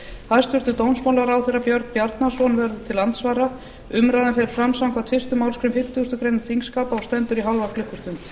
hæstvirtur dómsmálaráðherra björn bjarnason verður til andsvara umræðan fer fram samkvæmt fyrstu málsgrein fimmtugustu grein þingskapa og stendur í hálfa klukkustund